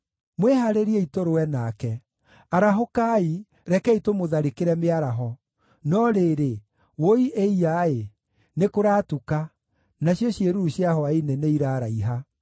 “Mwĩhaarĩriei tũrũe nake! Arahũkai, rekei tũmũtharĩkĩre mĩaraho! No rĩrĩ, wũi-ĩiya-ĩ! Nĩkũratuka, nacio ciĩruru cia hwaĩ-inĩ nĩiraraiha.